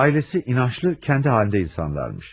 Ailesi inançlı, kendi halinde insanlarmış.